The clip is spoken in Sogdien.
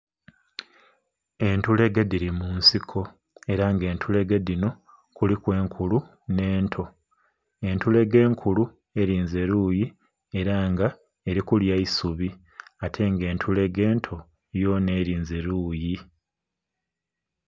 Entulege dhili mu nsiko, era nga entulege dhino kuliku enkulu nh'ento. Entulege enkulu elinze luuyi era nga eli kulya isubi. Ate nga entulege ento, yonha elinze luuyi.